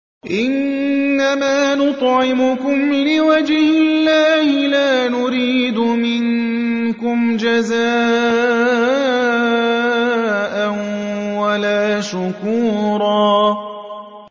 إِنَّمَا نُطْعِمُكُمْ لِوَجْهِ اللَّهِ لَا نُرِيدُ مِنكُمْ جَزَاءً وَلَا شُكُورًا